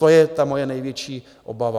To je ta moje největší obava.